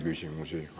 Küsimusi ei ole.